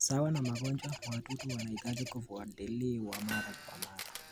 Sawa na magonjwa, wadudu wanahitaji kufuatiliwa mara kwa mara.